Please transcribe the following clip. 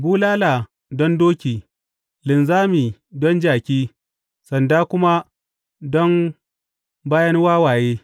Bulala don doki, linzami don jaki, sanda kuma don bayan wawaye!